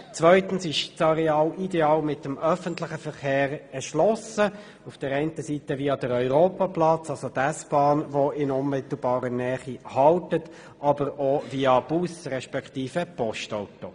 Zweitens ist das Areal ideal mit dem öffentlichen Verkehr erschlossen, auf der einen Seite via Europaplatz mit der in unmittelbarer Nähe haltenden S-Bahn, auf der anderen Seite via Bus respektive Postauto.